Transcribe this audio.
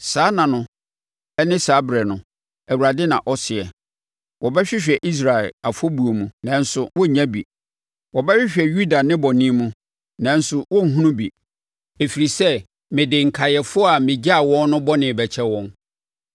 Saa nna no ne saa ɛberɛ no,” Awurade na ɔsɛ, “Wɔbɛhwehwɛ Israel afɔbuo mu, nanso wɔrennya bi, wɔbɛhwehwɛ Yuda nnebɔne mu, nanso wɔrenhunu bi, ɛfiri sɛ, mede nkaeɛfoɔ a megyaa wɔn no bɔne bɛkyɛ wɔn.